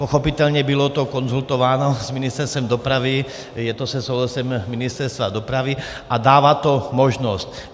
Pochopitelně to bylo konzultováno s Ministerstvem dopravy, je to se souhlasem Ministerstva dopravy a dává to možnost.